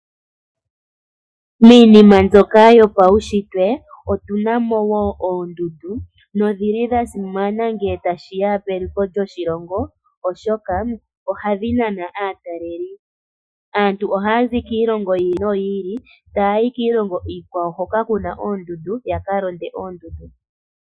Miinima mbyoka yopaunshitwe otuna mo wo oondundu nodhili dha simana ngele tashi ya peliko lyoshilongo, oshoka ohadhi nana aataleli po. Aantu ohaya zi kiilongo yi ili noyi ili taya yi kiilongo iikwawo hoka kuna oondundu, yaka londe oondundu.